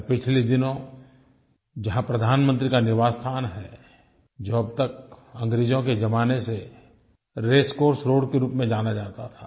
मैं पिछले दिनों जहाँ प्रधानमंत्री का निवास स्थान है जो अब तक अंग्रेज़ों के जमाने से रेसकोर्स रोड के रूप में जाना जाता था